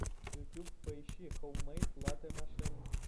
ютуб поищи хоуммэйд латэ машин